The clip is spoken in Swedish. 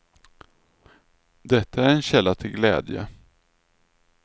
Detta är en källa till glädje.